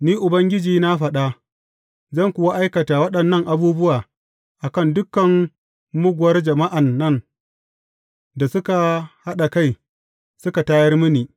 Ni, Ubangiji na faɗa, zan kuwa aikata waɗannan abubuwa a kan dukan muguwar jama’an nan da suka haɗa kai, suka tayar mini.